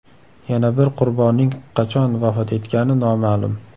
Yana bir qurbonning qachon vafot etgani noma’lum.